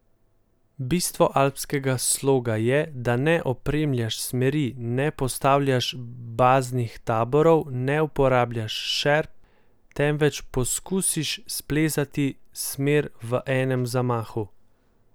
Bistvo alpskega sloga je, da ne opremljaš smeri, ne postavljaš baznih taborov, ne uporabljaš šerp, temveč poskušiš splezati smer v enem zamahu.